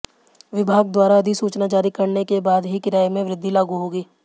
विभाग द्वारा अधिसूचना जारी करने के बाद ही किराये में वृद्धि लागू होगी